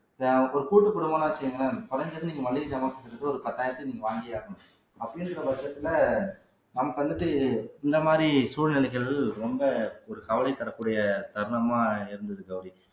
இப்போ ஒரு கூட்டு குடும்பம்ன்னு வச்சுக்கோங்களேன் குறைஞ்சது நீங்க மளிகை சாமான் ஒரு பத்தாயிரத்தை நீங்க வாங்கியே ஆகணும் அப்படின்ற பட்சத்துல நமக்கு வந்துட்டு இந்த மாதிரி சூழ்நிலைகள் ரொம்ப ஒரு கவலை தரக்கூடிய தருணமா இருந்தது கௌரி